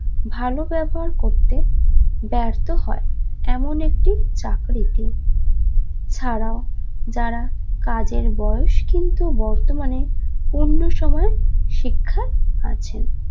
ভালো ব্যবহার করতে ব্যার্থ হয় এমন একটি চাকরিতে ছাড়াও যারা কাজের বয়স কিন্তু বর্তমানে অন্য সময় শিক্ষা আছেন